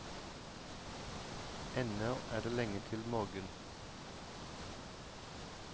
Ennå er det lenge til morgen.